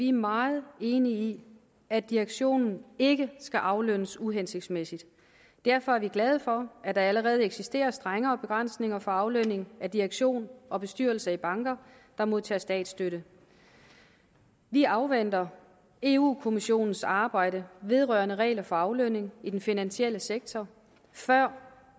er meget enige i at direktionen ikke skal aflønnes uhensigtsmæssigt derfor er vi glade for at der allerede eksisterer strengere begrænsninger for aflønning af direktion og bestyrelse i banker der modtager statsstøtte vi afventer europa kommissionens arbejde vedrørende regler for aflønning i den finansielle sektor før